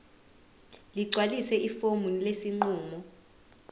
ligcwalise ifomu lesinqumo